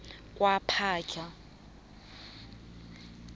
kwaphahla